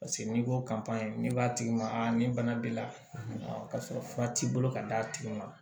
Paseke n'i ko n'i b'a tigi ma a nin bana b'i la k'a sɔrɔ fura t'i bolo ka d'a tigi ma